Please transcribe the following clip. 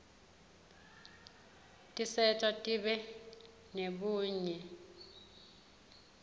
tiserta sibe nebunye